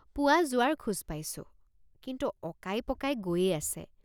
পুৱা যোৱাৰ খোজ পাইছোঁ কিন্তু অকাইপকাই গৈয়ে আছে।